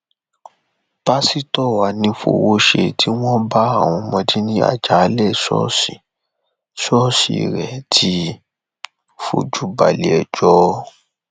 pásítọ anífowóṣe tí wọn bá àwọn ọmọdé ní àjàalẹ ṣọọṣì ṣọọṣì rẹ ti fojú balẹẹjọ